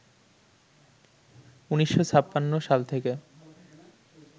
১৯৫৬ সাল থেকে